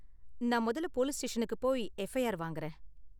நான் முதல்ல போலீஸ் ஸ்டேஷனுக்கு போயி எஃப்ஐஆர் வாங்கறேன்.